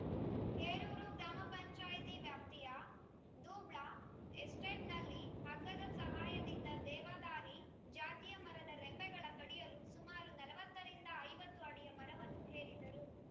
ಹೇರೂರು ಗ್ರಾಮ ಪಂಚಾಯಿತಿ ವ್ಯಾಪ್ತಿಯ ದೂಬ್ಳ ಎಸ್ಟೇಟ್‌ನಲ್ಲಿ ಹಗ್ಗದ ಸಹಾಯದಿಂದ ದೇವದಾರಿ ಜಾತಿಯ ಮರದ ರೆಂಬೆಗಳ ಕಡಿಯಲು ಸುಮಾರು ನಲವತ್ತರಿಂದ ಐವತ್ತು ಅಡಿಯ ಮರವನ್ನು ಏರಿದ್ದರು